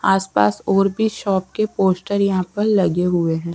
आस पास और भी शॉप के पोस्टर यहाँ पर लगे हुए है.